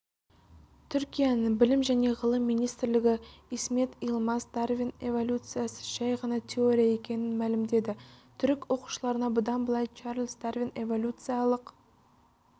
түркияның білім және ғылым министрлігі исмет йылмаз дарвин эвалюциясы жай ғана теория екенін мәлімдеді түрік оқушыларына бұдан былай чарльз дарвин эвоюлюциялық